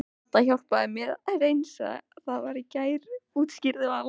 Dadda hjálpaði mér að hreinsa það í gær útskýrði Vala.